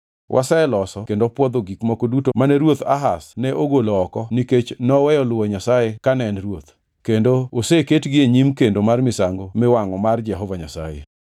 Waseloso kendo pwodho gik moko duto mane ruoth Ahaz ne ogolo oko nikech noweyo luwo Nyasaye kane en ruoth, kendo oseketgi e nyim kendo mar misango miwangʼo mar Jehova Nyasaye.”